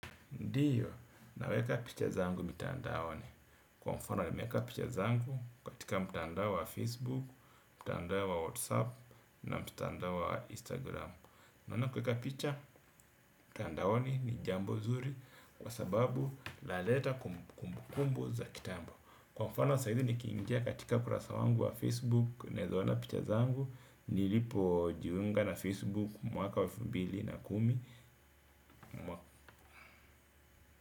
Ndiyo, naweka picha zangu mitandaoni. Kwa mfano, nimeweka picha zangu katika mtandao wa Facebook, mtandao wa WhatsApp, na mtandao wa Instagram. Maana kuweka picha, mtandaoni ni jambo zuri kwa sababu linaleta kumbukumbu za kitambo. Kwa mfano, sasa hivi nikiingia katika ukurasa wangu wa Facebook ninaweza ona picha zangu, nilipojiunga na Facebook mwaka elfu mbili na kumi mwa.